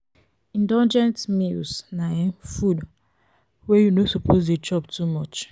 indulgent meals na um food wey you no suppose de chop too much